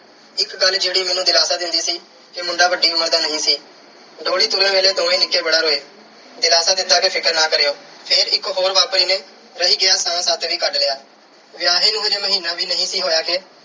ਇੱਕ ਗੱਲ ਜਿਹੜੀ ਮੈਨੂੰ ਦਿਲਾਸਾ ਦਿੰਦੀ ਸੀ ਕਿ ਮੁੰਡਾ ਵੱਡੀ ਉਮਰ ਦਾ ਨਹੀਂ ਸੀ। ਡੋਲੀ ਤੁਰਨ ਲੱਗੇ ਦੋਵੇਂ ਨਿੱਕੇ ਬੜਾ ਰੋਏ। ਦਿਲਾਸਾ ਦਿੱਤਾ ਕਿ ਫ਼ਿਕਰ ਨਾ ਕਰਿਉ। ਫਿਰ ਇਕ ਹੋਰ ਨੇ ਰਹਿ ਗਿਆ ਸਾਹ ਤੱਕ ਵੀ ਕੱਢ ਲਿਆ। ਵਿਆਹੀ ਅਜੇ ਮਹੀਨਾ ਵੀ ਨਹੀਂ ਸੀ ਹੋਇਆ ਕਿ